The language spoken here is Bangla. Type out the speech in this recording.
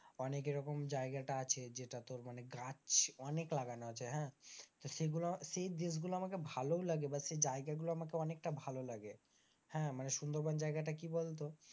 অনেক এরকম জায়গাটা আছে যেটা তোর মানে গাছ অনেক লাগানো আছে হ্যাঁ তো সেগুলো সেই দেশগুলো আমাকে ভালোও লাগে বা সেই জায়গাগুলো আমাকে অনেকটা ভালো লাগে, হ্যাঁ মানে সুন্দরবন জায়গাটা কি বলতো,